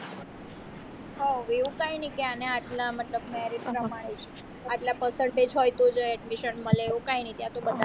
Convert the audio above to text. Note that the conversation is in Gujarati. હવે એવું કઈ ની કે અને આટલા મતલબ marriage પ્રમાણે જ આટલા percent તેજ હોય તો જ admission મળે એવું કઈ નઈ ત્યાં તો બધા ને